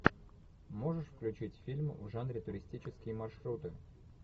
можешь включить фильм в жанре туристические маршруты